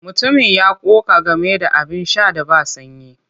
Mutumin ya ƙoƙa game da abin sha da ba sanyi.